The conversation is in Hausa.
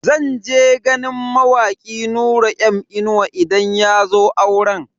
Zan je ganin mawaki Nura M Inuwa idan yazo auren.